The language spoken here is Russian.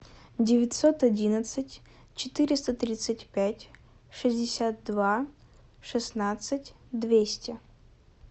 девятьсот одиннадцать четыреста тридцать пять шестьдесят два шестнадцать двести